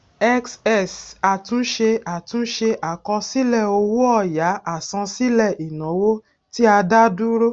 xx àtúnṣe àtúnṣe àkọsílẹ owó ọyà àsansílẹ ìnáwó tí a dá dúró